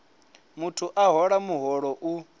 muthu a hola muholo u